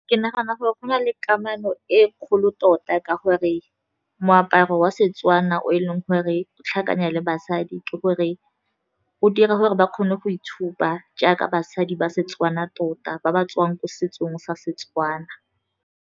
Ke nagana gore go na le kamano e kgolo tota ka gore moaparo wa Setswana o e leng gore o tlhakanya le basadi, ke gore o dira gore ba kgone go itshupa jaaka basadi ba Setswana tota, ba ba tswang ko setsong sa Setswana.